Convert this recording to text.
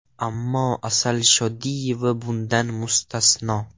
Ammo Asal Shodiyeva bundan mustasno.